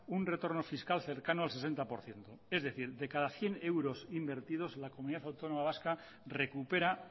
un retorno fiscal cercano al sesenta por ciento es decir de cada cien euros invertidos la comunidad autónoma vasca recupera